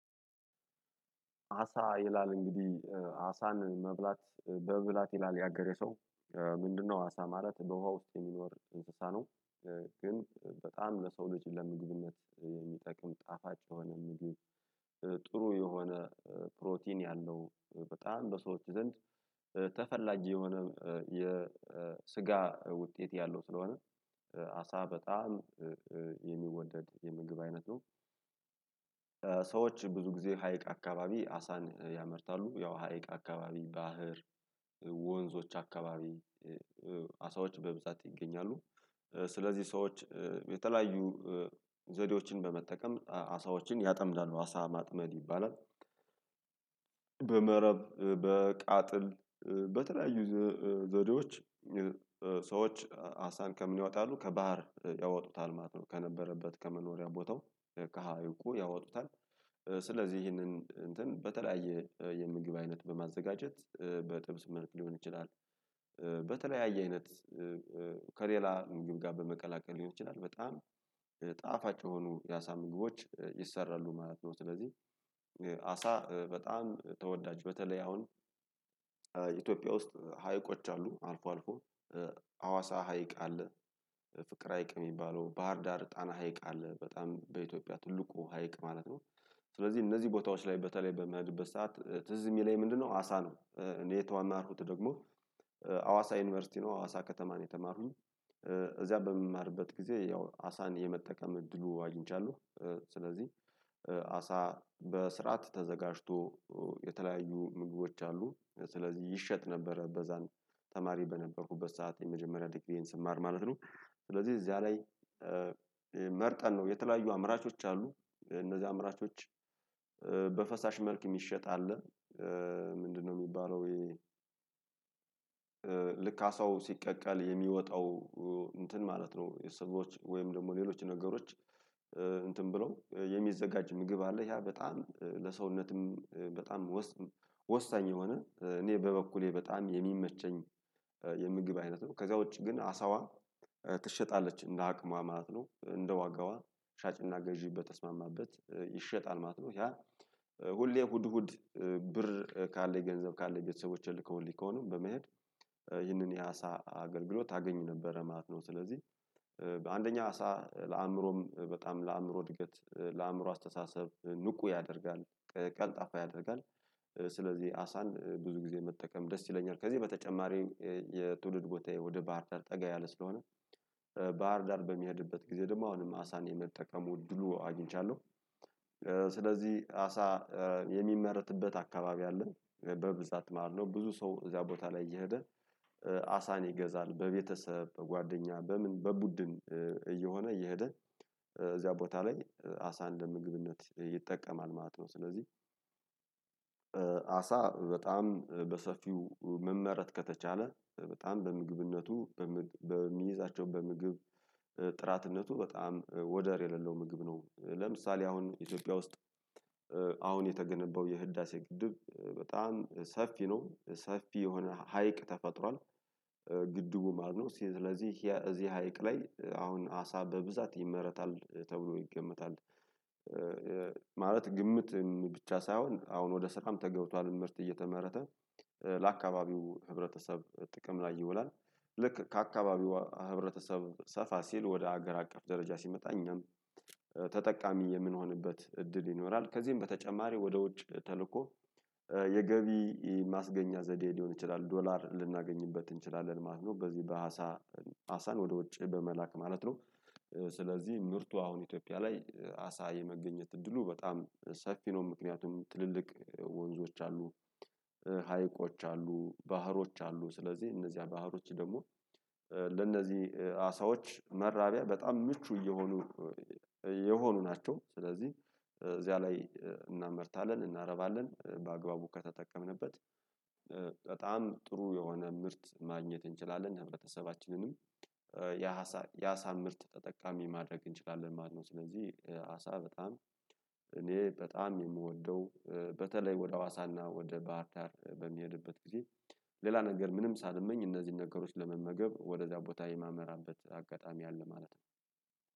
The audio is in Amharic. አሳ ይላል እንግዲህ አሳን መብላት በብላት ይላል ያገሬ ሰው ምንድነው አሳ ማለት በውሃ ውስጥ የሚኖር እንስሳ ነው። ግን በጣም ለሰው ልጅ ለምግብነት የሚጠቅም ጣፋጭ የሆነ ምግብ። ጥሩ የሆነ ፕሮቲን ያለው በጣም በሰዎች ዘንድ ተፈላጊ የሆነ የስጋ ውጤት ያለው ስለሆነ አሳ በጣም የሚወደድ የምግብ አይነት ነው። ሰዎች ብዙ ጊዜ ሀይቅ አካባቢ አሳን ያመርታሉ ያው ሀይቅ አካባቢ ባህር ወንዞች አካባቢ። በብዛት ይገኛሉ ስለዚህ ሰዎች የተለያዩ ዘዴዎችን በመጠቀም አሳዎችን ያጠምዳሉ አሳ ማጥመድ ይባላል። በመረብ በቃጥል በተለያዩ ዘዴዎች ሰዎች አሳን ከምን ይወጣሉ ከባህር ያወጡታል ማለት ነው ከነበረበት ከመኖሪያ ቦታው ከሀይቁ ያወጡታል። ስለዚህ ይህንን እንትን በተለያየ የምግብ አይነት በማዘጋጀት በጥብስ መልክ ሊሆን ይችላል። በተለያየ አይነት ከሌላ ምግብ ጋር በመቀላቀል ሊሆን ይችላል በጣም ጣፋጭ የሆኑ ያሳ ምግቦች ይሰራሉ ማለት ነው። ስለዚህ አሳ በጣም ተወዳጅ በተለይ አሁን ውስጥ ሀይቆች አሉ አልፎ አልፎ ሀዋሳ ሀይቅ አለ ፍቅር ሀይቅ የሚባለው ባህር ዳር ጣና ሀይቅ አለ በጣም በኢትዮጵያ ትልቁ ሀይቅ ማለት ነው። ስለዚህ እነዚህ ቦታዎች ላይ በተለይ በማያድግበት ሰዓት ትዝ የሚለኝ ምንድነው አሳ ነው። እኔ የተማርኩት ደግሞ ሀዋሳ ዩኒቨርሲቲ ነው ሀዋሳ ከተማ ነው የተማርኩት። እዚያ በምማርበት ጊዜ ያው አሳን የመጠቀም እድሉ አግኝቻለሁ። ስለዚህ አሳ በስርዓት ተዘጋጅቶ የተለያዩ ምግቦች አሉ ስለዚህ ይሸጥ ነበረ በዛን ተማሪ በነበርኩበት ሰዓት የመጀመሪያ ዲግሪዬን ስማር ማለት ነው። ስለዚህ እዚያ ላይ መርጠን ነው የተለያዩ አምራቾች አሉ እነዚህ አምራቾች በፈሳሽ መልክ የሚሸጥ አለ። ምንድነው የሚባለው ይሄ ልካ አሳው ሲቀቀል የሚወጣው እንትን ማለት ነው። የሰዎች ወይም ደግሞ ሌሎች ነገሮች እንትን ብሎ የሚዘጋጅ ምግብ አለ ያ በጣም ለሰውነትም በጣም ወሳኝ የሆነ እኔ በበኩሌ በጣም የሚመቸኝ የምግብ አይነት ነው። ከዛ ውጪ ግን አሳዋ ትሸጣለች እንደ አቅሟ ማለት ነው። እንደ ዋጋዋ ሻጭና ገዢ በተስማማበት ይሸጣል ማለት ነው። ያ ሁሌ እሁድ እሁድ ብር ካለ ገንዘብ ካለ ቤተሰቦችን ከሁሌ ከሆነ በመሄድ ይህንን የአሳ አገልግሎት አገኝ ነበረ ማለት ነው። ስለዚህ በአንደኛ አሳ ለአእምሮም በጣም ለአእምሮ እድገት ለአእምሮ አስተሳሰብ ንቁ ያደርጋል ቀልጣፋ ያደርጋል። ስለዚህ አሳን ብዙ ጊዜ መጠቀም ደስ ይለኛል ከዚህ በተጨማሪ የትውልድ ቦታዬ ወደ ባህርዳር ጠጋ ያለ ስለሆነ። ስለዚህ እነዚህ ቦታዎች ላይ በተለይ በማያድግበት ሰዓት ትዝ የሚለኝ ምንድነው አሳ ነው። እንዴ የተዋማርኩት ደግሞ ሀዋሳ ዩኒቨርሲቲ ነው አዋሳ ከተማ ነው የተማሩኝ አሳን ይገዛል በቤተሰብ በጓደኛ በምን በቡድን እየሆነ እየሄደ እዚያ ቦታ ላይ አሳን እንደ ምግብነት ይጠቀማል ማለት ነው። ስለዚህ አሳ በጣም በሰፊው መመረጥ ከተቻለ በጣም በምግብነቱ በሚይዛቸው በምግብ በጣም ወደር የሌለው ምግብ ነው። ለምሳሌ አሁን ኢትዮጵያ ውስጥ አሁን የተገነባው የህዳሴ ግድብ በጣም ሰፊ ነው ሰፊ የሆነ ሀይቅ ተፈጥሯል። ግድቡ ማለት ነው ስለዚህ እዚህ ሀይቅ ላይ አሁን አሳ በብዛት ይመረታል ተብሎ ይገመታል። ማለት ግምት ብቻ ሳይሆን አሁን ወደ ስራም ተገብቷል ምርት እየተመረተ ለአካባቢው ህብረተሰብ ጥቅም ላይ ይውላል። ልክ ከአካባቢው ህብረተሰብ ሰፋ ሲል ወደ ሀገር አቀፍ ደረጃ ሲመጣ እኛም ተጠቃሚ የምንሆንበት እድል ይኖራል። ከዚህም በተጨማሪ ወደ ውጭ ተልእኮ የገቢ ማስገኛ ዘዴ ሊሆን ይችላል ዶላር ልናገኝበት እንችላለን ማለት ነው። በዚህ በአሳ አሳን ወደ ውጭ በመላክ ማለት ነው። ስለዚህ ምርቱ አሁን ኢትዮጵያ ላይ አሳ የመገኘት እድሉ በጣም ሰፊ ነው። ምክንያቱም ትልልቅ ወንዞች አሉ ሀይቆች አሉ ባህሮች አሉ ስለዚህ እነዚያ ባህሮች ደግሞ ለእነዚህ አሳዎች መራቢያ በጣም ምቹ እየሆኑ ነው። የሆኑ ናቸው ስለዚህ እዚያ ላይ እናመርታለን እናረባለን በአግባቡ ከተጠቀምንበት። በጣም ጥሩ የሆነ ምርት ማግኘት እንችላለን ህብረተሰባችንንም የአሳ የአሳ ምርት ተጠቃሚ ማድረግ እንችላለን ማለት ነው። ስለዚህ በጣም እኔ በጣም የምወደው በተለይ ወደ ሀዋሳና ወደ ባህርዳር በሚሄድበት ጊዜ ሌላ ነገር ምንም ሳልመኝ እነዚህን ነገሮች ለመመገብ ወደ እዛ ቦታ የማመራበት አጋጣሚ አለ ማለት ነው